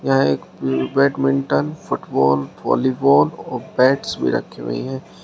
यहां एक badminton football volleyball और बैट्स भी रखे हुए हैं।